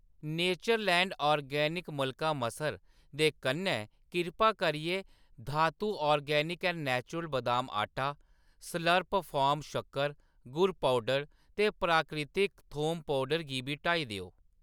Natureland organics मलका मसर दे कन्नै, किरपा करियै धातु ऑर्गेनिक्स ऐंड नेचुरल बदाम आटा, स्लर्प फार्म शक्कर, गुड़ पौडर ते प्राकृतिक थोम पौडर गी बी हटाई देओ।